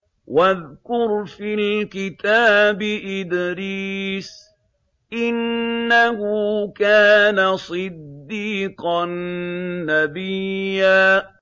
وَاذْكُرْ فِي الْكِتَابِ إِدْرِيسَ ۚ إِنَّهُ كَانَ صِدِّيقًا نَّبِيًّا